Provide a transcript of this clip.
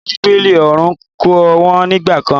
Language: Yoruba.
Nínú Bíbélì oòrùn kò wọ̀ nígbà kan.